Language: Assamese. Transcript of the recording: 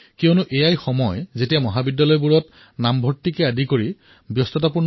কাৰণ এইটো সময়েই মহাবিদ্যালয়ৰ প্ৰধান ঋতু